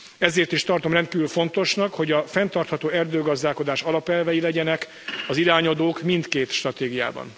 Ezért is tartom rendkívül fontosnak, hogy a fenntartható erdőgazdálkodás alapelvei legyenek az irányadók mindkét stratégiában.